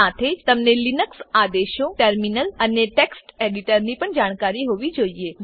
સાથે જ તમને લીનક્સ આદેશો ટર્મિનલ અને ટેક્સ્ટ એડીટરની પણ જાણકારી હોવી જોઈએ